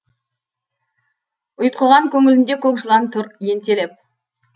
ұйтқыған көңілінде көк жылан тұр ентелеп